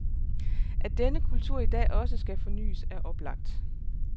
At denne kultur i dag også skal fornyes er oplagt.